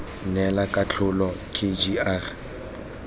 neela katlholo k g r